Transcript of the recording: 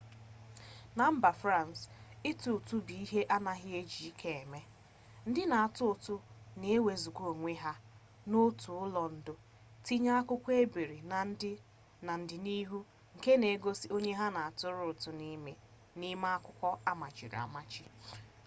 na mba frans ịtụ ụtụ bụ ihe anaghị eji ike eme ndị na-atụ ụtụ na ewezuga onwe ha n'otu ụlọ ndo tinye akwụkwọ ebiri na ndịnihu nke na-egosi onye ha na atụrụ ụtụ n'ime akwụkwọ amachiri amachi